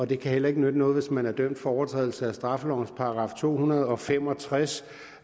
det kan heller ikke nytte noget hvis man er dømt for overtrædelse af straffelovens § to hundrede og fem og tres